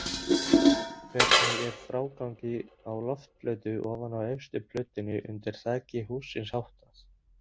Hvernig er frágangi á loftplötu ofan á efstu plötunni undir þaki hússins háttað?